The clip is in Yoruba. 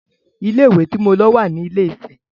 Ilé ìwé tí mo lọ wà ní ilé - ìfẹ.